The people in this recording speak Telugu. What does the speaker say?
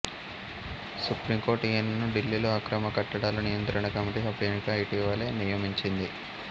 సుఫ్రీం కోర్ట్ ఈయనను ఢిల్లీలో అక్రమ కట్టాడాల నియంత్రణ కమిటీ సభ్యునిగా ఇటేవల నియమించింది